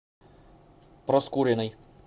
проскуриной